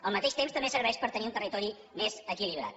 al mateix temps també serveix per tenir un territori més equilibrat